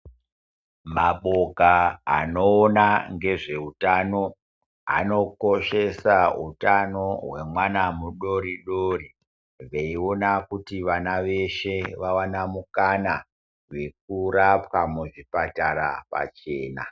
Maboka anoona ngezveutano anokoshesa hutana hwemwana mudoridori veiona kuti vana veshe vawane mukana wekurapwa muzvipatara pachena.